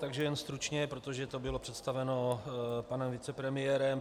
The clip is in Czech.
Takže jen stručně, protože to bylo představeno panem vicepremiérem.